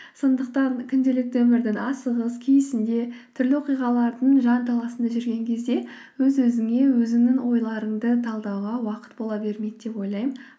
сондықтан күнделікті өмірдің асығыс түрлі оқиғалардың жанталасында жүрген кезде өз өзіңе өзіңнің ойларыңды талдауға уақыт бола бермейді деп ойлаймын